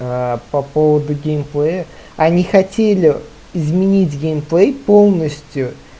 аа по поводу геймплея они хотели изменить геймплей полностью